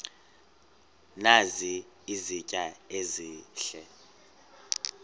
nazi izitya ezihle